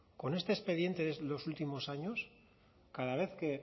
con este expediente de los últimos años cada vez que